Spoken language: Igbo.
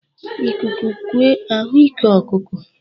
Ikuku kue a hụ ike ọkụkụ.